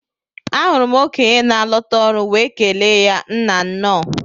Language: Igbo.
Ahụrụ m okenye na alota ọrụ wee kelee ya Nnaa nnọọ